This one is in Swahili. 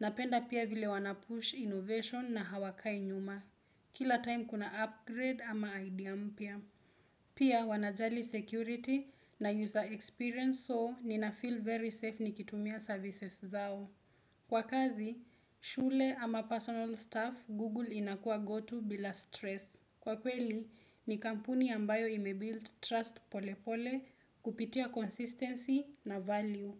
Napenda pia vile wanapush innovation na hawakai nyuma. Kila time kuna upgrade ama idea mpya. Pia wanajali security na user experience so ninafeel very safe nikitumia services zao. Kwa kazi, shule ama personal staff, Google inakua gotu bila stress. Kwa kweli, ni kampuni ambayo ime-built trust pole pole kupitia consistency na value.